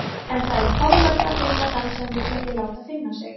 En það er torvelt að finna þann sem vill ekki láta finna sig.